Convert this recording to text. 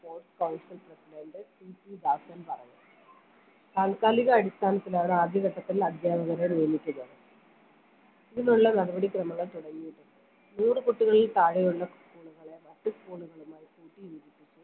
sports council presidentPC ബാഷൻ പറഞ്ഞു താൽകാലിക അടിസ്ഥാനത്തിലാണ് ആദ്യ ഘട്ടത്തിൽ അധ്യാപകരെ നിയമിച്ചത് ഇതിനുള്ള നടപടി ക്രമങ്ങൾ തുടങ്ങിയിട്ടുണ്ട് നൂറ് കുട്ടികളിൽ താഴെയുള്ള school കളെ മറ്റു school കളുമായി കൂട്ടിയോജിപ്പിച്ച്